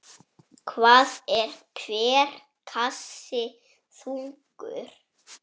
Hvað er hver kassi þungur?